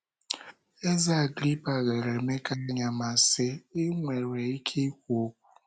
Eze Agrịpa lere Emeka anya ma sị: ‘ I nwere ike ikwu okwu? "